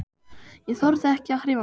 Ég þorði ekki að hreyfa mig.